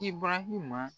I barahima